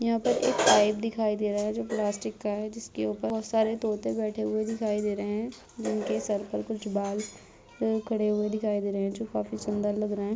यहाँ पर एक पाइप दिखाई दे रहा है जो प्लास्टिक का है जिसके ऊपर बहोत सारे तोते बैठे हुए दिखाई दे रहे हैं। उनके सर पे कुछ बाल खड़े हुए दिखाई दे रहे हैं जो काफी सुन्दर लग रहे हैं।